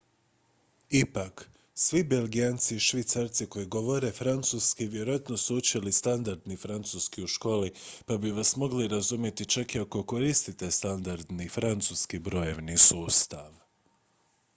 ipak svi belgijanci i švicarci koji govore francuski vjerojatno su učili standardni francuski u školi pa bi vas mogli razumjeti čak i ako koristite standardni francuski brojevni sustav